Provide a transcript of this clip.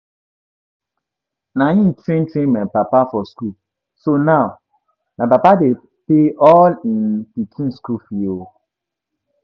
Na im train train my papa for school so now my papa dey pay all of im pikin school fees oo